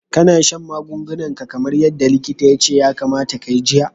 Kana shan magungunan ka kamar yadda likita ya ce ya kamata ka jiya?